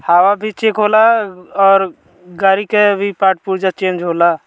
हवा भी चेक होअला और गाड़ी के भी पार्ट पुर्जा चेक होला।